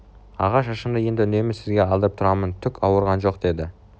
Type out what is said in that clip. аға шашымды енді үнемі сізге алдырып тұрамын түк ауырған жоқ деді